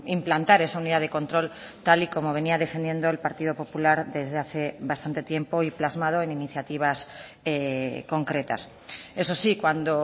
implantar esa unidad de control tal y como venía defendiendo el partido popular desde hace bastante tiempo y plasmado en iniciativas concretas eso sí cuando